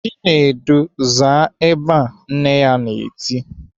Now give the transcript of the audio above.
"Chidindu, zaa ebe a!" Nne ya na-eti.